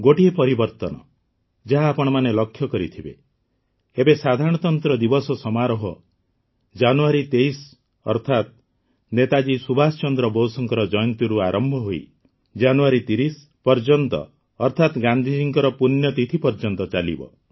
ଗୋଟିଏ ପରିବର୍ତ୍ତନ ଯାହା ଆପଣମାନେ ଲକ୍ଷ୍ୟ କରିଥିବେ ଏବେ ସାଧାରଣତନ୍ତ୍ର ଦିବସ ସମାରୋହ ଜାନୁଆରୀ ୨୩ ଅର୍ଥାତ୍ ନେତାଜୀ ସୁଭାଷ ଚନ୍ଦ୍ର ବୋଷଙ୍କ ଜୟନ୍ତୀରୁ ଆରମ୍ଭ ହୋଇ ଜାନୁଆରୀ ୩୦ ପର୍ଯ୍ୟନ୍ତ ଅର୍ଥାତ୍ ଗାନ୍ଧିଜୀଙ୍କ ପୂଣ୍ୟତିଥି ପର୍ଯ୍ୟନ୍ତ ଚାଲିବ